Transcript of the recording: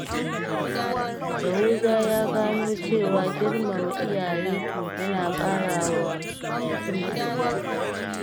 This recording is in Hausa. Yahuza ya gano cewa girmama iyaye yana ƙara wa mutum albarka.